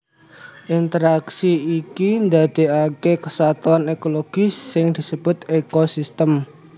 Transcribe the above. Interaksi iki ndadekake kesatuan ekologi sing disebut ekosistem